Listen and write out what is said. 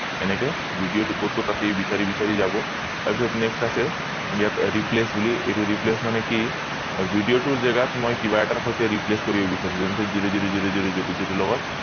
এনেকে video টো কত কত আছে বিছাৰি বিছাৰি যাব তাৰ পিছত next আছে ইয়াত replace বুলি এইটো replace মানে কি video টোৰ জেগাত মই কিবা এটাৰ সৈতে replace কৰিব বিচাৰিছো যেনেকে zero zero zero zero zero লগত